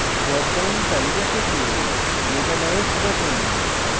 drop down তালিকায় টিপে metalloids বাছুন